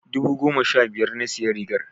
I bought the shirt fifteen thousand naira.